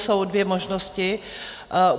Jsou dvě možnosti.